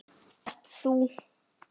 Ert þú?